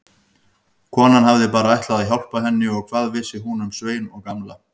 Konan hafði bara ætlað að hjálpa henni og hvað vissi hún um Svein og Gamla.